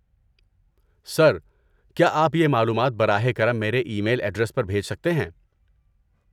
سر، کیا آپ یہ معلومات براہ کرم میرے ای میل ایڈریس پر بھیج سکتے ہیں؟